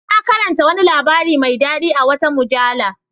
Na karanta wani labari mai dadi a wata mujalla.